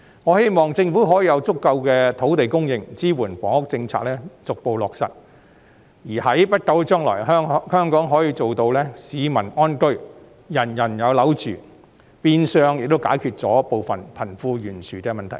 我希望政府可以提供足夠的土地供應，以支援房屋政策逐步落實，在不久的將來，香港可以做到市民安居、人人有樓住，變相亦能解決部分貧富懸殊的問題。